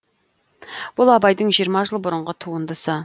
бұл абайдың жиырма жыл бұрынғы туындысы